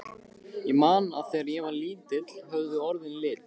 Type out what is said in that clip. Ég man að þegar ég var lítill höfðu orðin lit.